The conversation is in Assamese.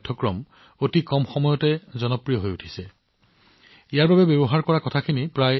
আপুনি জানি আচৰিত হব যে এই পাঠ্যক্ৰমটো এইমাত্ৰ আৰম্ভ কৰা হৈছে কিন্তু ইয়াত শিকোৱা সমলৰ প্ৰস্তুতি ১০০ বছৰতকৈও অধিক আগতে আৰম্ভ হৈছিল